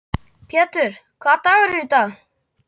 Pjetur, hvaða dagur er í dag?